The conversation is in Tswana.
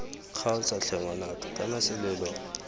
kgaotsa tlhe ngwanaka kana selelo